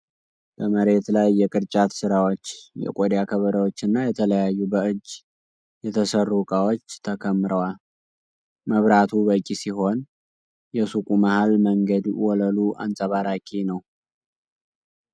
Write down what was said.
በመሬት ላይ የቅርጫት ሥራዎች፣ የቆዳ ከበሮዎችና የተለያዩ በእጅ የተሠሩ ዕቃዎች ተከምረዋል። መብራቱ በቂ ሲሆን፣ የሱቁ መሃል መንገድ ወለሉ አንፀባራቂ ነው።